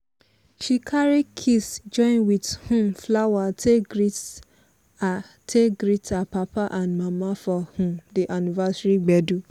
she carry kiss join with um flower take greet her take greet her papa and mama for um di anniversary gbedu.